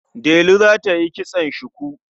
Delu za ta yi kitson shuku.